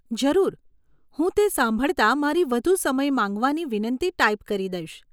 જરૂર, હું તે સાંભળતા મારી વધુ સમય માંગવાની વિનંતી ટાઈપ કરી દઈશ